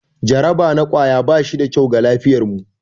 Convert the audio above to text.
Jaraba na kwaya ba shi da kyau ga lafiyarmu.